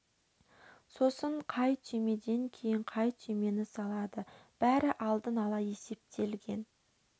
сосын қай түймеден кейін қай түймені салады бәрі алдын ала есептелген